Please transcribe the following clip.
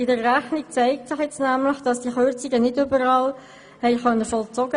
In der Rechnung zeigt sich jetzt nämlich, dass diese Kürzungen nicht überall ausgeführt werden konnten.